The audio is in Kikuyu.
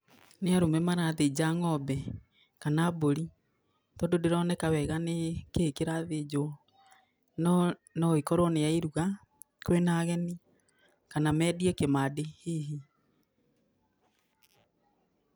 Nĩ arũme marathĩnja ng'ombe, kana mbũri, tondũ ndĩroneka wega nĩ kĩi kĩrathĩnjwo. No noĩkorwo nĩ ya iruga kwina ageni, kana mendie kimandi hihi.